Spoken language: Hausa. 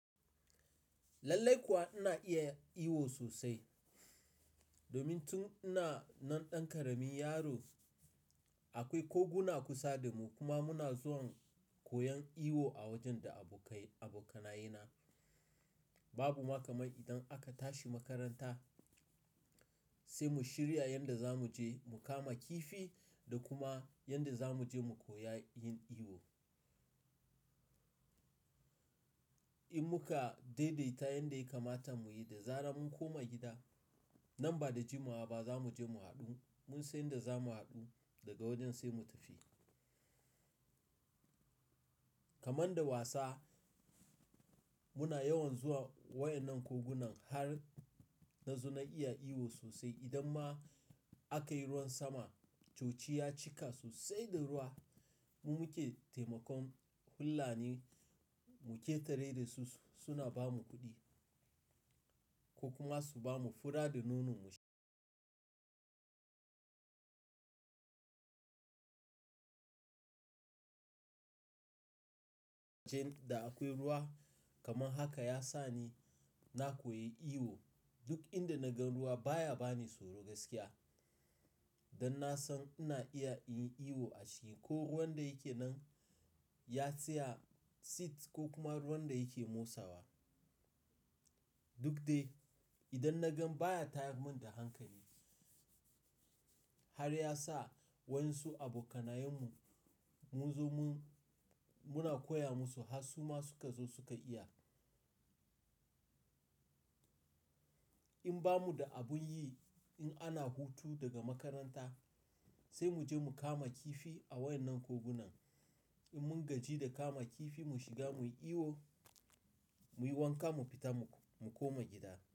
Lallai kuwa ina iya yin iwu sosai. Domin tun ina nan ɗan ƙaramin yaro akwai koguna kusa da mu kuma muna zuwa koyan iwo a wajen da abokanaye na. Babu makamai idan aka tashi makaranta sai mu shirya yanda za mu je mu kama kifi da kuma yanda za mu je mu koya yin iwo. In muka daidaita yanda ya kamata mu yi da zara mun koma gida. Nan ba da jimawa ba za mu je mu haɗu mun san yadda za mu haɗu daga wajen sai mu tafi. Kaman da wasa muna yawan zuwa waɗannan kogunan har na zo na iya iwo sosai. Idan ma aka yi ruwan sama, coci ya cika sosai da ruwa mun wuce taimakon fullani mu cetare da su suna ba mu kuɗi ko kuma su ba mu fura da nono mu sha. Wajen da akwai ruwa kaman haka ya sa ni na koyi iwo. Duk inda na gan ruwa baya bani tsoro gaskiya. Dan na san ina iya yin iwo a ciki ko ruwan da yake nan ya tsaya sit ko kuma ruwan da yake motsawa. Duk dai idan na gan baya tayar mun da hankali. Har ya sa wan su abokanayen mu mun zo mun muna koya musu har su ma suka zo suka iya. In ba mu da abin yi in ana hutu daga makaranta sai mu je mu kama kifi a waɗannan kogunan. In mun gaji da kama kifi mu shiga mu yi iwo muyi wanka mu fita mu koma gida.